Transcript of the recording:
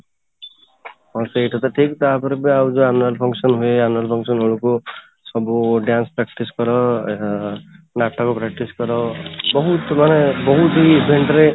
ହଁ, ସେଇ କଥା ଠିକ ତାପରେ ବି ଆଉ ଯୋଉ annual function ହୁଏ annual function ରେ ହଉ ଯୋଉ ସବୁ dance practice କର ନାଟକ practice କର ବହୁତ ମାନେ ବହୁତ